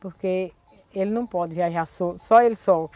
Porque ele não pode viajar só só ele só.